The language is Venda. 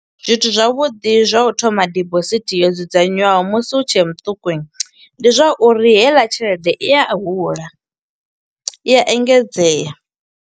Zwithu zwavhuḓi zwa u thoma dibosithi yo dzudzanywaho musi u tshe muṱuku, ndi zwa uri heiḽa tshelede i a hula, i a engedzea.